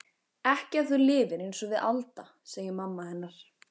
Ekki ef þú lifir einsog við Alda, segir mamma hennar.